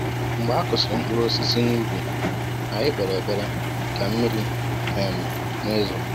mgbe a kụsịrị mkpụrụ osisi n'ubi ,anyị kpere ekpere ka mmiri um n'ezo